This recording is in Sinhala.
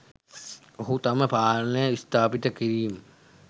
ඔහු තම පාලනය ස්ථාපිත කිරිම